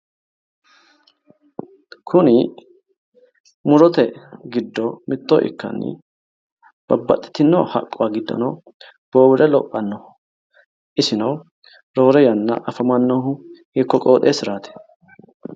Kuni murote giddo mitto ikkanna babbaxitino haqquwa giddonino bowire lophannoho isino roore yanna afamannohu hiikko qooxeessuraari.